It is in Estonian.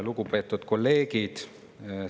Lugupeetud kolleegid!